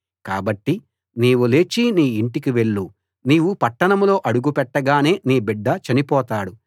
కాబట్టి నీవు లేచి నీ ఇంటికి వెళ్ళు నీవు పట్టణంలో అడుగుపెట్టగానే నీ బిడ్డ చనిపోతాడు